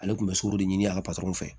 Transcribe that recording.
Ale tun bɛ sukɔro de ɲini a ka patɔrɔn fɛ